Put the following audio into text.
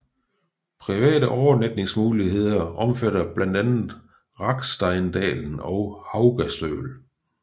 Private overnatningsmuligheder omfatter blandt andet Raggsteindalen og Haugastøl